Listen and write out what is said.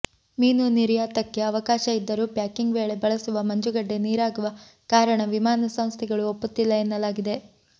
ಮೀನು ನಿರ್ಯಾತಕ್ಕೆ ಅವಕಾಶ ಇದ್ದರೂ ಪ್ಯಾಕಿಂಗ್ ವೇಳೆ ಬಳಸುವ ಮಂಜುಗಡ್ಡೆ ನೀರಾಗುವ ಕಾರಣ ವಿಮಾನ ಸಂಸ್ಥೆಗಳು ಒಪ್ಪುತ್ತಿಲ್ಲ ಎನ್ನಲಾಗಿದೆ